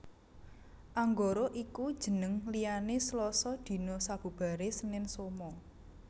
Anggara iku jeneng liyane Slasa dina sabubare Senen Soma